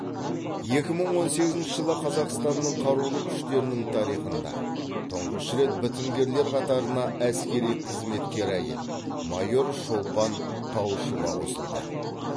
екі мың он сегізінші жылы қазақсатнның қарулы күштернің тарихында тұңғыш рет бітімгерлер қатарына әскери қызметкер әйел майор шолпан тауышова қосылды